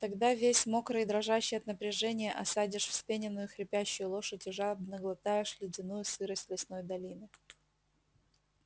тогда весь мокрый и дрожащий от напряжения осадишь вспененную хрипящую лошадь и жадно глотаешь ледяную сырость лесной долины